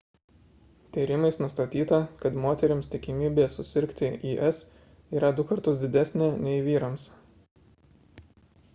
tyrimais nustatyta kad moterims tikimybė susirgti is yra du kartus didesnė nei vyrams